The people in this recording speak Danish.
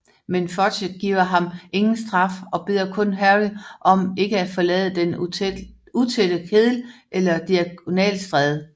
Men Fudge giver ham ingen straf og beder kun Harry om ikke at forlade Den Utætte Kedel eller Diagonalstræde